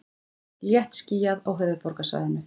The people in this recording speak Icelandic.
Léttskýjað á höfuðborgarsvæðinu